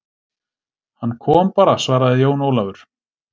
Hann kom bara, svaraði Jón Ólafur.